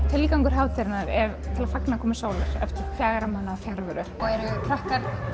tilgangur hátíðarinnar er að fagna komu sólarinnar eftir fjögurra mánaða fjarveru eru krakkar